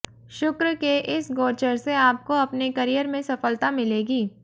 शुक्र के इस गोचर से आपको अपने करियर में सफलता मिलेगी